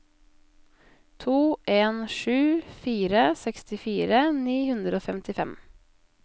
to en sju fire sekstifire ni hundre og femtifem